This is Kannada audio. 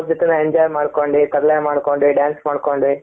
ಅವರ ಜೊತೆ enjoy ಮಾಡಿಕೊಂಡಿ ತರ್ಲೆ ಮಾಡಿಕೊಂಡಿ dance ಮಾಡಿಕೊಂಡಿ.